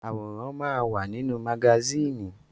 Àwòrán máa wà nínú magásìnì.